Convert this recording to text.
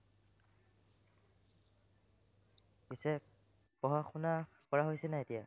পিচে, পঢ়া-শুনা কৰা হৈছেনে নাই এতিয়া?